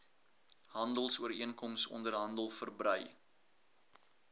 handelsooreenkoms onderhandel verbrei